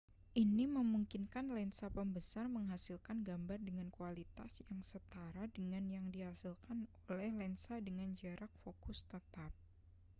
ini memungkinkan lensa pembesar menghasilkan gambar dengan kualitas yang setara dengan yang dihasilkan oleh lensa dengan jarak fokus tetap